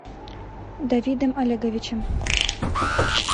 давидом олеговичем